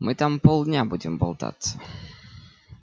мы там полдня будем болтаться